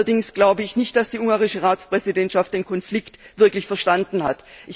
Allerdings glaube ich nicht, dass die ungarische Ratspräsidentschaft den Konflikt wirklich verstanden hat.